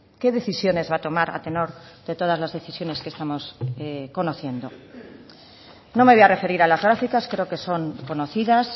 qué decisiones va a tomar a tenor de todas las decisiones que estamos conociendo no me voy a referir a las gráficas creo que son conocidas